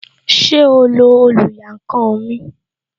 Ṣé o lo oluyankan mi?